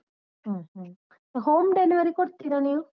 ಹ್ಮ್ ಹ್ಮ್, home delivery ಕೊಡ್ತೀರ ನೀವು?